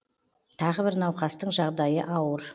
тағы бір науқастың жағдайы ауыр